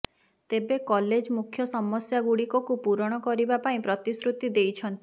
ତେବେ କଲେଜ ମୁଖ୍ୟ ସମସ୍ୟା ଗୁଡ଼ିକକୁ ପୂରଣ କରିବା ପାଇଁ ପ୍ରତିଶୃତି ଦେଇଛନ୍ତି